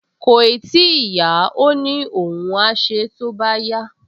Kòì tíì yá, ó ní òun á ṣe é tó bá yá